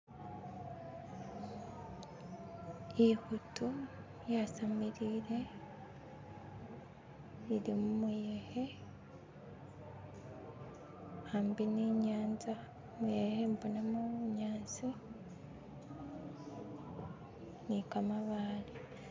Ikhutu yasamilile ili mumuyekhe khambi ni nyatsa ne khembonamo bunyasi ni kamabaale